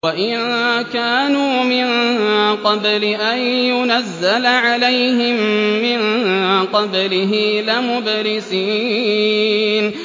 وَإِن كَانُوا مِن قَبْلِ أَن يُنَزَّلَ عَلَيْهِم مِّن قَبْلِهِ لَمُبْلِسِينَ